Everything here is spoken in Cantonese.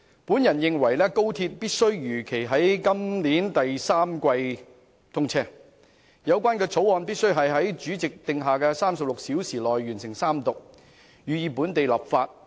我認為高鐵必須如期在今年第三季通車，而《廣深港高鐵條例草案》必須在主席定下的36小時內完成三讀，予以本地立法。